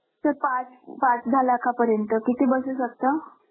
sir पाच pass झाल्या का पर्यंत किती बसा असतं